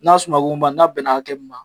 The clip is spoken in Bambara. N'a suma gongonba la n'a bɛna hakɛ min ma